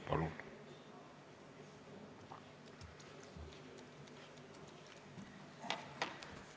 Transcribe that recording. Palun!